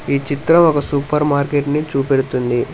ఈ చిత్రం ఒక సూపర్ మార్కెట్ ని చూపెడుతుంది.